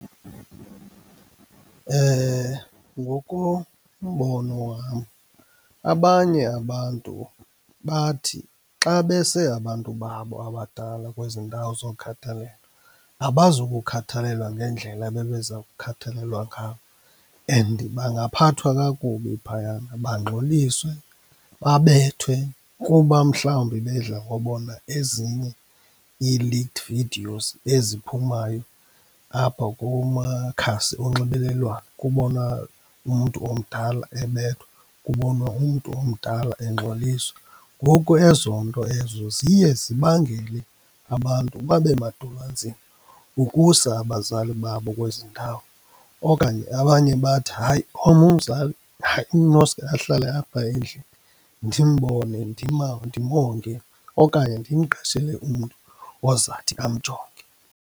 Ngokombono wam abanye abantu bathi xa bese abantu babo abadala kwezi ndawo zokhathalelo abazukukhathalelwa ngendlela ebebeza kukhathalelwa ngabo. And bangaphathwa kakubi phayana, bangxoliswe, babethwe kuba mhlawumbi bedla ngobona ezinye ii-leaked videos eziphumayo apha kumakhasi onxibelelwano, kubona umntu omdala ebethwa, kubonwa umntu omdala engxoliswa. Ngoku ezonto ezo ziye zibangele abantu babe madolo anzima ukusa abazali babo kwezi ndawo. Okanye abanye bathi, hayi owam umzali hayi unoske ahlale apha endlini, ndimbone, ndimonge okanye ndimqashele umntu ozathi amjonge.